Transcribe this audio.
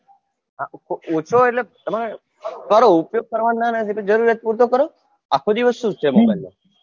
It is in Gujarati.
ઓછો એટલે તમારે કરો ઉપયોગ કરવાની ના નથી જરૂરિયાત પુરતો કરો આખો દિવસ સુ છે mobile માં